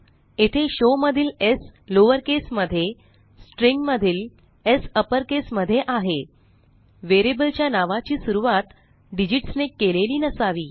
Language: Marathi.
येथे शो मधील स् लॉवरकेस मध्ये stringमधील स् अपरकेस मध्ये आहे व्हेरिएबलच्या नावाची सुरूवात डिजिट्स ने केलेली नसावी